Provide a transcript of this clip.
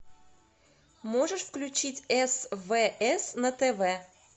можешь включить свс на тв